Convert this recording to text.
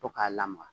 To k'a lamaga